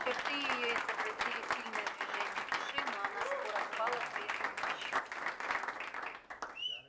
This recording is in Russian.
черты её изобразили сильное движение души но она скоро впала в прежнюю бесчувственность